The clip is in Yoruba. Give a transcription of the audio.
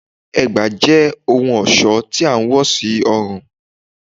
Ègbá jẹ ohun ọṣọ tí a wò sí ọrun